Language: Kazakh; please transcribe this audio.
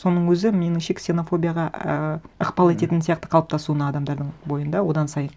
соның өзі меніңше ксенофобияға ііі ықпал ететін сияқты қалыптасуына адамдардың бойында одан сайын